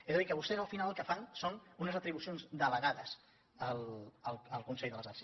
és a dir que vostès al final el que fan són unes atribucions delegades al consell de les arts